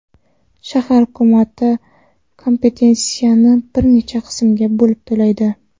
Shahar hukumati kompensatsiyani bir necha qismga bo‘lib to‘laydi.